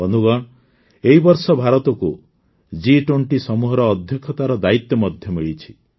ବନ୍ଧୁଗଣ ଏହି ବର୍ଷ ଭାରତକୁ G20 ସମୂହର ଅଧ୍ୟକ୍ଷତାର ଦାୟିତ୍ୱ ମଧ୍ୟ ମିଳିଛି